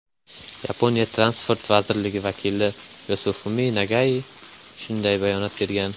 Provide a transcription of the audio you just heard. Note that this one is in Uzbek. Yaponiya transport vazirligi vakili Yosifumi Nagai shunday bayonot bergan.